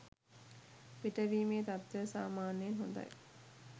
පිටවීමේ තත්වය සාමාන්‍යයෙන් හොඳයි